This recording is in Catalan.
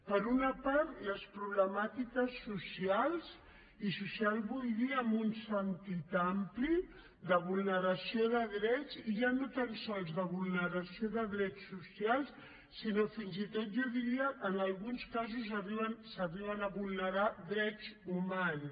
per una part les problemàtiques socials i social vull dir amb un sentit ampli de vulneració de drets i ja no tan sols de vulneració de drets socials sinó fins i tot jo diria en alguns casos s’arriben a vulnerar drets humans